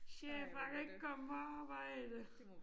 Chef jeg kan ikke komme på arbejde